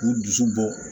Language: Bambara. K'u dusu bɔ